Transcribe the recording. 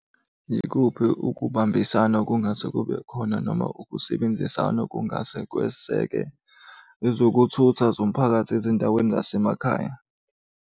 Yikuphi ukubambisana okungase kube khona noma ukusebenzisana okungase kweseke ezokuthutha zomphakathi ezindaweni zasemakhaya.